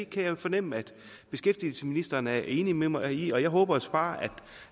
kan fornemme at beskæftigelsesministeren er enig med mig i det og jeg håber så bare